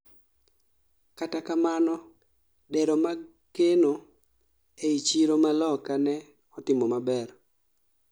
kata kamano dero mag kano ei chiro ma Loka ne otimo maber